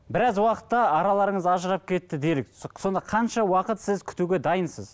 біраз уақытта араларыңыз ажырап кетті делік сонда қанша уақыт сіз күтуге дайынсыз